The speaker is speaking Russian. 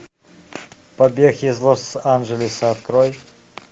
побег из лос анджелеса открой